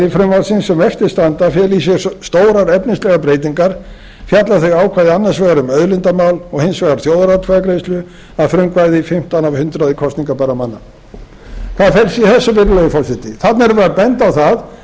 frumvarpsins sem eftir standa feli í sér stórar efnislegar breytingar fjalla þau ákvæði annars vegar um auðlindamál og hins vegar þjóðaratkvæðagreiðslu að frumkvæði fimmtán af hundraði kosningarbærra manna hvað felst í þessu virðulegi forseti þarna erum við að benda á það að